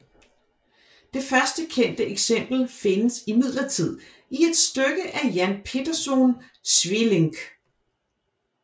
Det først kendte eksempel findes imidlertid i et stykke af Jan Pieterszoon Sweelinck